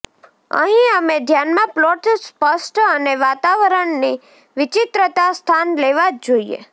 અહીં અમે ધ્યાનમાં પ્લોટ સ્પષ્ટ અને વાતાવરણની વિચિત્રતા સ્થાન લેવા જ જોઈએ